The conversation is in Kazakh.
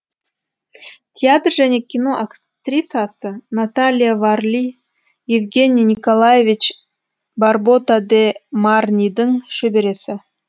театр және кино актрисасы наталья варли евгений николаевич барбота де марнидің шөбересі